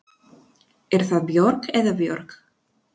Er það Björg eða Björg?